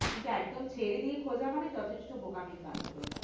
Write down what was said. কিন্তু একদম ছেড়ে দিয়ে খোঁজা মানে যথেষ্ট বোকামির কাজ হবে ওটা